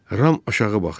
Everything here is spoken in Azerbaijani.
Ram aşağı baxdı.